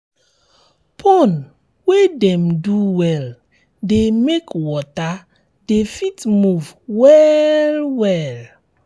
pond wey dem do well de make water um de fit move well well